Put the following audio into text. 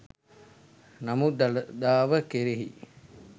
නමුත් දළදාව කෙරෙහි